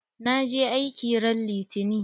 Na je aiki ran litani.